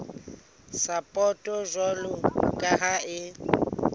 sapoto jwalo ka ha e